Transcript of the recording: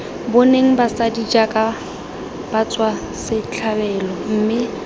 boneng basadi jaaka batswasetlhabelo mme